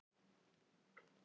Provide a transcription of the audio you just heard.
Snertingar hans eru óbærilegar.